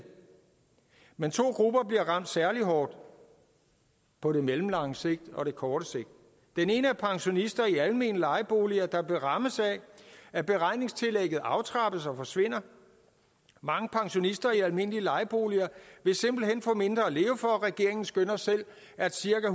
men to grupper bliver ramt særlig hårdt på det mellemlange sigt og det korte sigt den ene er pensionister i almene lejeboliger der bliver ramt af at beregningstillægget aftrappes og forsvinder mange pensionister i almindelige lejeboliger vil simpelt hen få mindre at leve for regeringen skønner selv at cirka